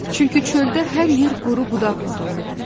Çünki çöldə hər yer quru budaqla doluydu.